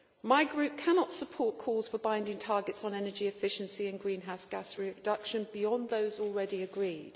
My Group cannot support calls for binding targets on energy efficiency and greenhouse gas reductions beyond those already agreed.